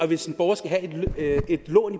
hvis en borger skal have et lån